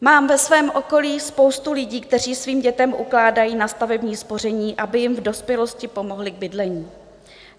Mám ve svém okolí spoustu lidí, kteří svým dětem ukládají na stavební spoření, aby jim v dospělosti pomohli k bydlení.